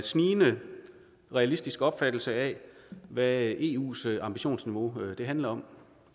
snigende realistisk opfattelse af hvad eus ambitionsniveau handler om